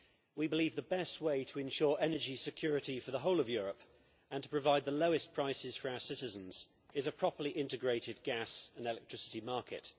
We believe the best way to ensure energy security for the whole of Europe and to provide the lowest prices for our citizens is a properly integrated gas and electricity market.